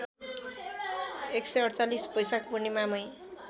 १४८ बैशाख पूर्णिमामै